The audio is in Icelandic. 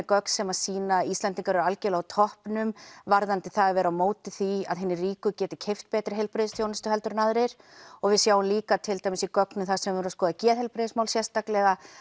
gögn sem sýna að Íslendingar eru á toppnum varðandi það að vera á móti því að hinir ríku geti keypt betri heilbrigðisþjónustu heldur en aðrir og við sjáum líka til dæmis í gögnum sem eru að skoða geðheilbrigðismál sérstaklega